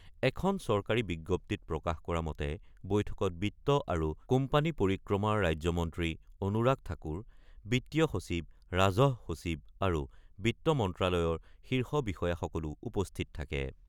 এখন চৰকাৰী বিজ্ঞপ্তিত প্ৰকাশ কৰা মতে, বৈঠকত বিত্ত আৰু কোম্পানী পৰিক্ৰমাৰ ৰাজ্যমন্ত্ৰী অনুৰাগ ঠাকুৰ, বিত্তীয় সচিব, ৰাজহ সচিব আৰু বিত্ত মন্ত্ৰালয়ৰ শীৰ্ষ বিষয়াসকলো উপস্থিত থাকে।